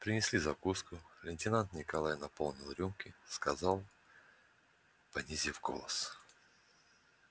принесли закуску лейтенант николай наполнил рюмки сказал понизив голос